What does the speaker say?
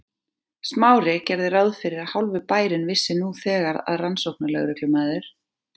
Smári gerði ráð fyrir að hálfur bærinn vissi nú þegar að rannsóknarlögreglumaður